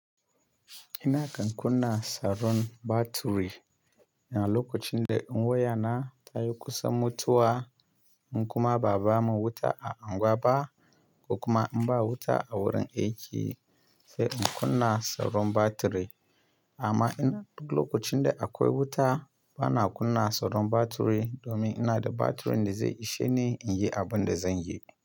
Ina kan kunna sauran batiri, yana lokacin da wayana ta yi kusa mutuwa in kuma ba'a ba mu wuta a unguwa ba, ko kuma in ba wuta a wurin aiki sai in kunna sauran batiri. Amma ina duk lokacin da akwai wuta bana kunna sauran batiri domin ina da batirin da zai ishe ni in yi abin da zan yi.